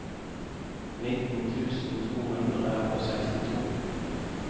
nitten tusen to hundre og sekstito